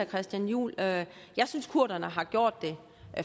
christian juhl at jeg synes kurderne har gjort det